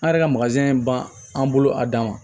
An yɛrɛ ka ban an bolo a dan ma